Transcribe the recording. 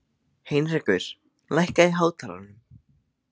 Heinrekur, lækkaðu í hátalaranum.